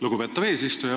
Lugupeetav eesistuja!